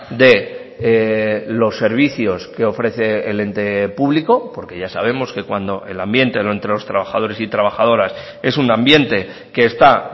de los servicios que ofrece el ente público porque ya sabemos que cuando el ambiente entre los trabajadores y trabajadoras es un ambiente que está